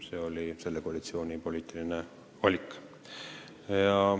See oli selle koalitsiooni poliitiline valik.